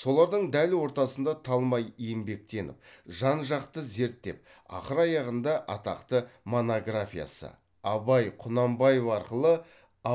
солардың дәл ортасында талмай еңбектеніп жан жақты зерттеп ақыр аяғында атақты монографиясы абай құнанбаев арқылы